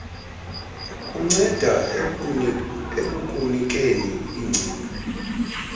kunceda ekukunikeni iingcinga